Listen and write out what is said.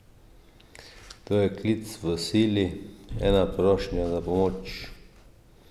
To je klic v sili, ena prošnja za pomoč!